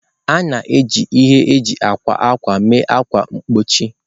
A na-eji ihe eji akwa ákwà mee ákwà mgbochi.